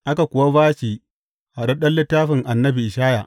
Aka kuwa ba shi naɗaɗɗen littafin annabi Ishaya.